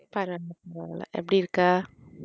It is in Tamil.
பரவால்ல பரவால்ல எப்படி இருக்க?